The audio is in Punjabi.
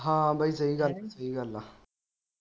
ਹਾਂ ਬਈ ਸਹੀ ਗੱਲ ਆ ਸਹੀ ਗੱਲ ਆ।